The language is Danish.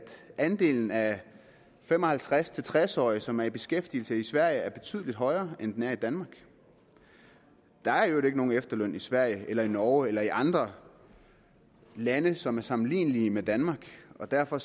andelen af fem og halvtreds til tres årige som er i beskæftigelse i sverige er betydelig højere end den er i danmark der er i øvrigt ikke nogen efterløn i sverige eller i norge eller i andre lande som er sammenlignelige med danmark og derfor